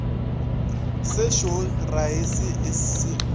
se šweu raese e sootho